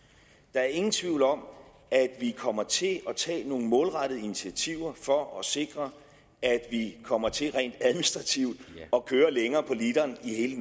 er ingen tvivl om at vi kommer til at tage nogle målrettede initiativer for at sikre at vi kommer til rent administrativt at køre længere på literen i hele